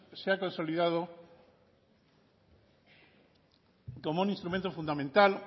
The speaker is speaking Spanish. se ha consolidado como un instrumento fundamental